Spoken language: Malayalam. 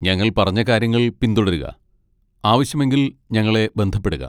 ഞങ്ങൾ പറഞ്ഞ കാര്യങ്ങൾ പിന്തുടരുക, ആവശ്യമെങ്കിൽ ഞങ്ങളെ ബന്ധപ്പെടുക.